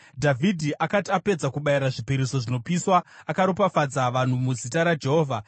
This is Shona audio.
Dhavhidhi akati apedza kubayira zvipiriso zvinopiswa, akaropafadza vanhu muzita raJehovha.